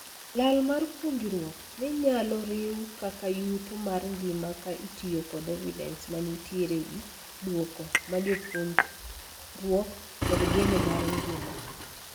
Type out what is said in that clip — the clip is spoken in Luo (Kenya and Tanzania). Lal mar puonjruok ni nyalo riu kaka yuto mar ngima ka itiyo kod evidence manitiere ewii duoko ma puonjruok kod geno mar ngima.